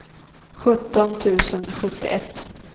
sjutton tusen sjuttioett